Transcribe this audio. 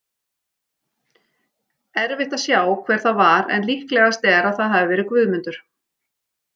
Erfitt að sjá hver það var en líklegast er að það hafi verið Guðmundur.